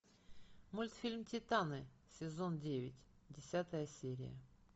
мультфильм титаны сезон девять десятая серия